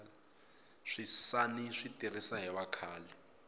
swisani swi tirhisa hi vakhale